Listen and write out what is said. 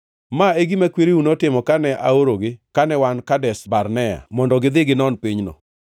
Ma e gima kwereu notimo kane aorogi kane wan Kadesh Barnea mondo gidhi ginon pinyno.